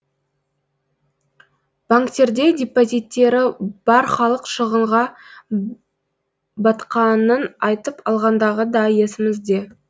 банктерде депозиттері бар халық шығынға батқанын айтып алғандағы да есімізде